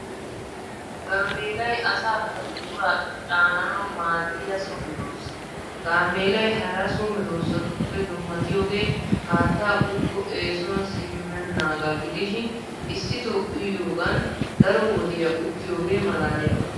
Gaameelay asaakka buquraa caananawu maaddiya so meedoossa. Gaameelay hara so meeddosatuppe dummatiyoogee haattaa uyikko essuwan simmennaagaa gidishin issitoo uyidoogan daro wodiyaa uttiyoogee malaaliyaaba.